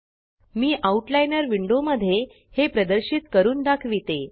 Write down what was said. मी outliner window मध्ये हे प्रदर्शित करून दाखविते